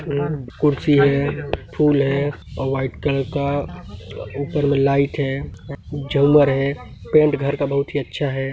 ए कुछ ये हैं फूल हैं और व्हाइट कलर का ऊपर मे लाइट हैं झालर है पेंट घर का बहुत ही अच्छा है।